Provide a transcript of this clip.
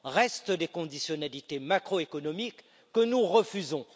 Restent les conditionnalités macroéconomiques, que nous refusons.